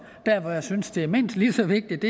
der hvor jeg synes det er mindst lige så vigtigt